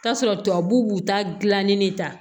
K'a sɔrɔ tubabu b'u ta gilanni de ta